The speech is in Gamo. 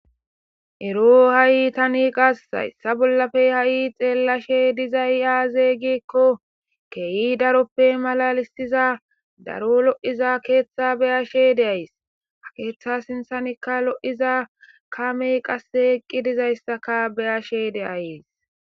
Erooo hayi tani hayissa bollappe be'izayi xeelashshe dizayi azze gikko kehi daroppe malalissizza daro lo'iza keththa be'ashshe dayis.haa keththa sinththakka lo'iza kameyi qassekka eqqi dizayissa be'ashshe de'ayiss.